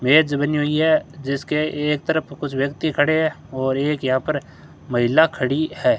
मेज बनी हुई है जिसके एक तरफ कुछ व्यक्ति खड़े हैं और एक यहां पर महिला खड़ी है।